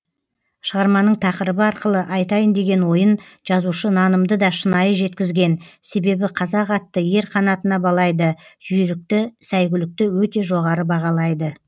шығарманың тақырыбы арқылы айтайын деген ойын жазушы нанымды да шынайы жеткізген себебі қазақ атты ер қанатына балайды жүйірікті сәйгүлікті өте жоғары бағалайды